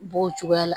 B'o cogoya la